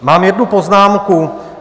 Mám jednu poznámku.